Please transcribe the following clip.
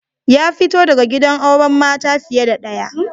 Ya fito daga gidan auren mata fiye da daya.